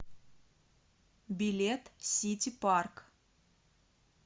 билет сити парк